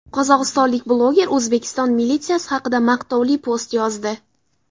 Qozog‘istonlik bloger O‘zbekiston militsiyasi haqida maqtovli post yozdi.